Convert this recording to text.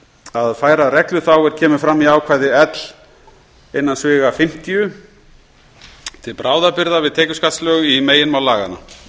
að færa reglu þá er kemur fram í ákvæði l til bráðabirgða við tekjuskattslög í meginmál laganna